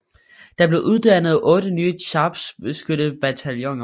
Der blev uddannet 8 nye skarpskyttebataljoner